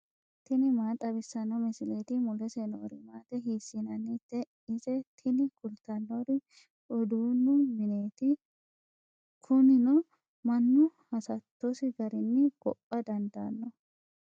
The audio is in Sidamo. tini maa xawissanno misileeti ? mulese noori maati ? hiissinannite ise ? tini kultannori uduunnu mineeti. kunino mannu hasattosi garinni gopha dandaanno.